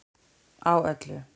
Á öllu